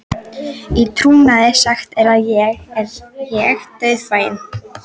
Í trúnaði sagt er ég dauðfeginn.